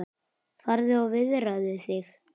Farðu og viðraðu þig,